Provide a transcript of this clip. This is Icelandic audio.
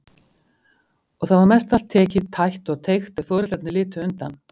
Og það var mestallt tekið, tætt og teygt, ef foreldrarnir litu undan.